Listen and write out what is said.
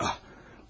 Ah!